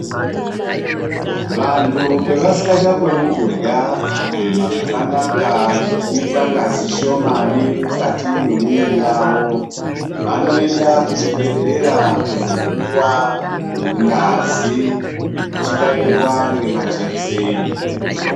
Vantu pasikachakoni kurya, kufema zvakanaka, nekuita ngazi shomani mukati mwemwiri yavo, vanoenda kuchibhedhlera kundo puwa ngazi ichibairwa ngemajekiseni.